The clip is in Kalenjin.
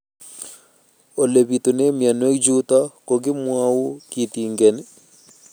Ole pitune mionwek chutok ko kimwau kitig'�n